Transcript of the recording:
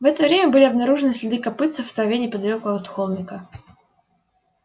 в это время были обнаружены следы копытцев в траве неподалёку от холмика